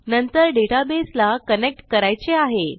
नंतर डेटाबेसला कनेक्ट करायचे आहे